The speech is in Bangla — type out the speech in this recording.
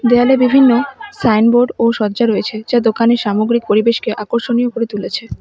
দেয়ালে বিভিন্ন সাইনবোর্ড ও শয্যা রয়েছে যা দোকানের সামগ্রিক পরিবেশকে আকর্ষণীয় করে তুলেছে।